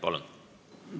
Palun!